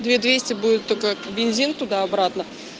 две двести будет только бензин туда обратно